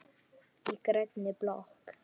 Í grænni blokk